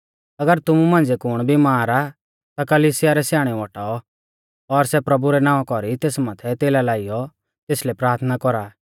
अगर तुमु मांझ़िऐ कुण बिमार आ ता कलिसिया रै स्याणै औटाऔ और सै प्रभु रै नावां कौरी तेस माथै तेला लाइयौ तेसलै प्राथना कौरा